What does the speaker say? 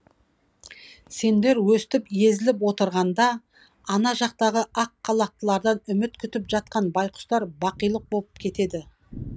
сендер өстіп езіліп отырғанда ана жақтағы ақ халаттылардан үміт күтіп жатқан байқұстар бақилық боп кетеді